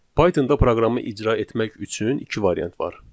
Pythonda proqramı icra etmək üçün iki variant var.